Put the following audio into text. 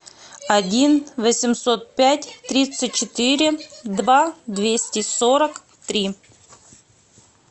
один восемьсот пять тридцать четыре два двести сорок три